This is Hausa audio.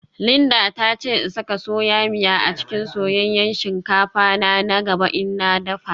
Linda ta ce in saka soya miya a cikin soyayyen shinkafa na na gaba in na dafa